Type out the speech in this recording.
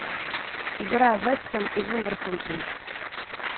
игра вест хэм и вулверхэмптон